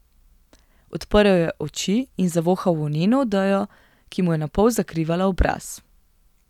Odprl je oči in zavohal volneno odejo, ki mu je napol zakrivala obraz.